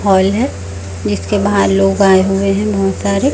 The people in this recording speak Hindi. हॉल है जिसके बाहर लोग आए हुए बहोत सारे--